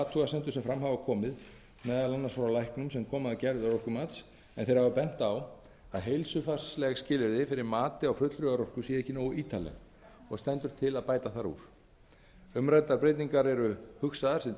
athugasemdum sem fram hafa komið meðal annars frá læknum sem að koma að gerð örorkumats en þeir hafa bent á að heilsufarsleg skilyrði fyrir mati á fullri örorku séu ekki nógu ítarleg og stendur til að bæta þar úr umræddar breytingar eru tímabundnar þar